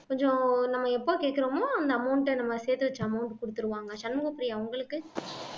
கொஞ்சம் நம்ம எப்ப கேட்கிறோமோ அந்த amount ஐ நம்ம சேர்த்து வைச்ச amount கொடுத்திருவாங்க சண்முகப்பிரியா உங்களுக்கு